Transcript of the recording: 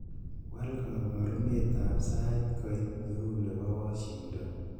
wal koborunet ab sait koit neu nebo washington